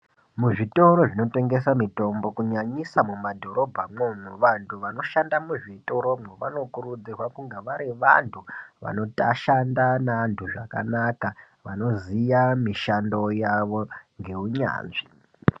Muzvitoro zvinotengesa mitombo kunyanyisa mumadhorobhamwo vanhu vanoshanda muzvitoromwo vanokurudzirwa kunge vari vanhu vanoshanda nevanhu zvakanaka vanoziya mishando yavo ngeunyanzvi.